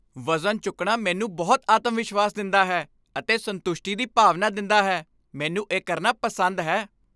ਵਜ਼ਨ ਚੁੱਕਣਾ ਮੈਨੂੰ ਬਹੁਤ ਆਤਮਵਿਸ਼ਵਾਸ ਦਿੰਦਾ ਹੈ ਅਤੇ ਸੰਤੁਸ਼ਟੀ ਦੀ ਭਾਵਨਾ ਦਿੰਦਾ ਹੈ। ਮੈਨੂੰ ਇਹ ਕਰਨਾ ਪਸੰਦ ਹੈ।